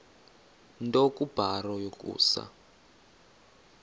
nto kubarrow yokusa